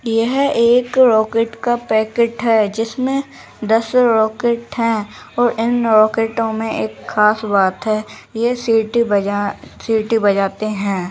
यह एक रॉकेट का पैकेट है जिसमें दस रॉकेट हैं और इन रॉकेटों में एक खास बात है यह सिटी-सिटी बजाते हैं।